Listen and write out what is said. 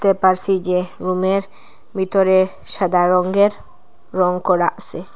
দেখতে পারসি যে রুমের ভিতরে সাদা রঙ্গের রং করা আসে।